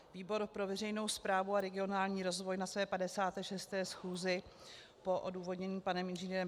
Výbor pro veřejnou správu a regionální rozvoj na své 56. schůzi po odůvodnění panem Ing.